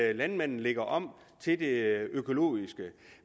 at landmanden lægger om til det økologiske